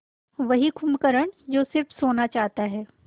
वही कुंभकर्ण जो स़िर्फ सोना चाहता है